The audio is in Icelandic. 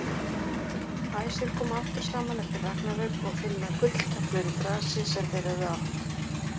Æsir koma aftur saman eftir ragnarök og finna gulltöflur í grasi sem þeir höfðu átt.